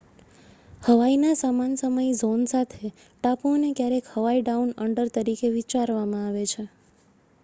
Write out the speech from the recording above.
"હવાઈના સમાન સમય ઝોન સાથે ટાપુઓને ક્યારેક "હવાઈ ડાઉન અંડર" તરીકે વિચારવામાં આવે છે.